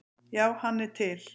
Já, hann er til.